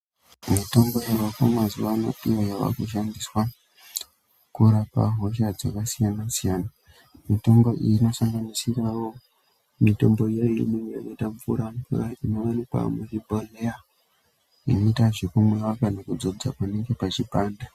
Mitombo yavako mazuva ano iyo yavakushandiswa kurapa hosha dzakasiyana siyana, mitombo iyi inosanganisirawo mitombo iye yakaite mvura mvura inomwiwa kana kudzodzera panenge pachipanda.